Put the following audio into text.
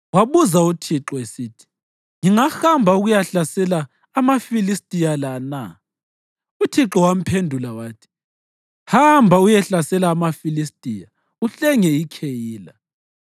wabuza uThixo, esithi, “Ngingahamba ukuyahlasela amaFilistiya la na?” Uthixo wamphendula wathi, “Hamba uyehlasela amaFilistiya uhlenge iKheyila.”